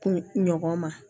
Kun ɲɔgɔn ma